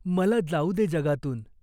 मला जाऊ दे जगातून.